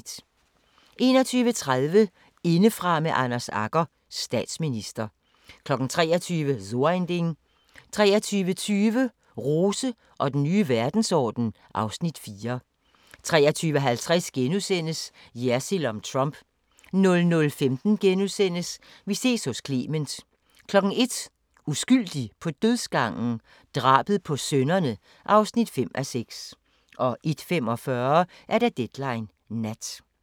21:30: Indefra med Anders Agger – Statsminister 23:00: So ein Ding 23:20: Rose og den nye verdensorden (Afs. 4) 23:50: Jersild om Trump * 00:15: Vi ses hos Clement * 01:00: Uskyldig på dødsgangen? Drabet på sønnerne (5:6) 01:45: Deadline Nat